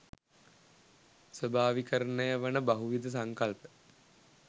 ස්වාභාවිකරණය වන බහුවිධ සංකල්ප